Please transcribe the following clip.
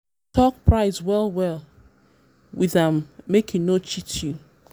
talk price well um well um with am make e no cheat you.